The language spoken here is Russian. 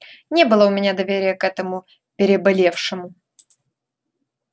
не было у меня доверия к этому переболевшему